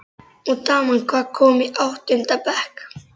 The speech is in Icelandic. Og daman, hvað- komin í áttunda bekk?